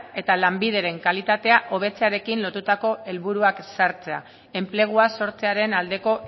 eta lanbideren kalitatea hobetzearekin lotutako helburuak ezartzea enplegua sortzearen aldeko